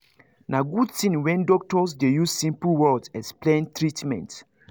na good thing when doctors dey use simple words explain treatment